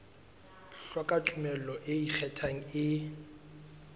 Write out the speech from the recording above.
hloka tumello e ikgethang e